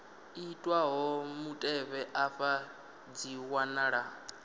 itwaho mutevhe afha dzi wanala